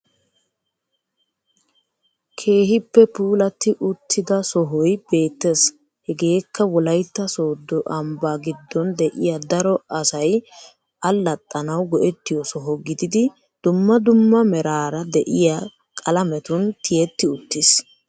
Kehippe puulati uttida sohoy beettess hegeekka wolaytta soddo ambba giddon de'iya daro asai allaxaanawu go'etiyo soho giddidi dumma dumma meraara de'iya qalametun tiyetti uttis